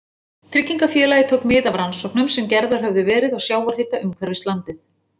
Tryggingafélagið tók mið af rannsóknum sem gerðar höfðu verið á sjávarhita umhverfis landið.